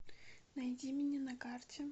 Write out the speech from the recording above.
найди меня на карте